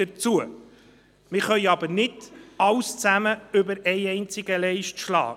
Wir können aber nicht alles auf einmal machen.